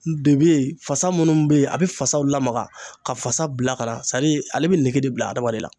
De be yen fasa munnu be yen a be fasaw lamaga ka fasa bila ka na sadi ale be nege de bila adamaden na